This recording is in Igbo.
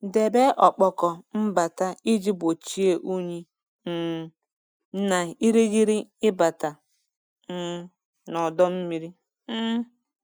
Debe ọkpọkọ mbata iji gbochie unyi um na irighiri ịbata um n'ọdọ mmiri. um